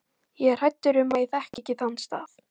Ég er hræddur um að ég þekki ekki þann stað